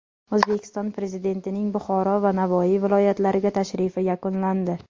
O‘zbekiston Prezidentining Buxoro va Navoiy viloyatlariga tashrifi yakunlandi.